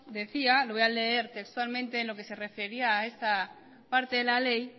decía lo voy a leer textualmente en lo que se refería a esta parte de la ley